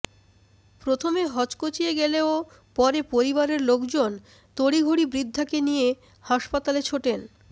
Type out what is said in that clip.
প্রথমে হকচকিয়ে গেলেও পরে পরিবারের লোকজন তড়িঘড়ি বৃদ্ধাকে নিয়ে হাসপাতালে ছোটেন